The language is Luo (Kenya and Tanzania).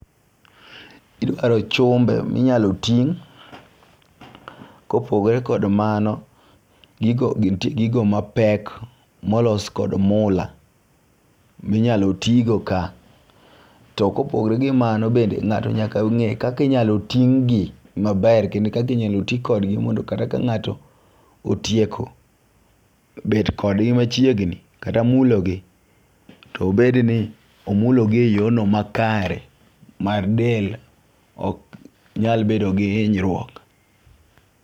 Idwaro chumbe minyalo ting'. Kopogore kod mano gigo ntie gigo mapek molos kod mula minyalo tigo ka. To kopogore gi mano bende ng'ato nyaka ng'e kaki nyalo ting' gi maber kendo kaki nyalo ti kodgi mondo kata ka ng'ato otieko bet kodgi machiegni kata mulo gi , to obed ni omulo gi e yoo no makare ma del ok nyal bedo gi hinyruok .